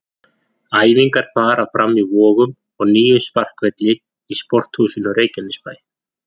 Æfingar fara fram í Vogum og nýjum sparkvelli í Sporthúsinu Reykjanesbæ.